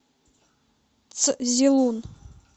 цзилун